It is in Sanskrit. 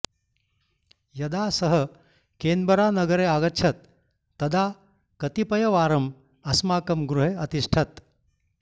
यदा सः केन्बरानगरे आगच्छत् तदा कतिपयवारम् अस्माकं गृहे अतिष्ठत्